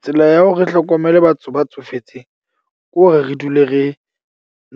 Tsela ya hore re hlokomele batho ba tsofetseng ke hore re dule re